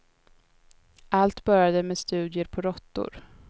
Allt började med studier på råttor.